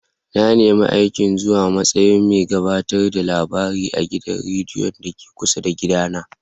Na nemi aikin zuwa matsayin mai gabatar da labarai a gidan rediyon da ke kusa da gida na.